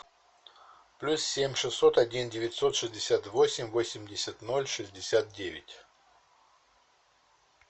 плюс семь шестьсот один девятьсот шестьдесят восемь восемьдесят ноль шестьдесят девять